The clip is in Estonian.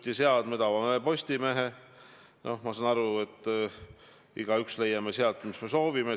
Peale seda, kui tema Euroopa Parlamenti valiti, on EKRE esitanud uue kandidaadi, inimese, kelle Eesti inimesed on siia Riigikogusse valinud.